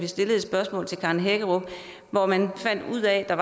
stillet et spørgsmål til karen hækkerup hvor man fandt ud af at der